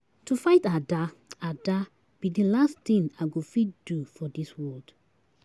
To fight Ada Ada be the last thing I go fit do for dis world.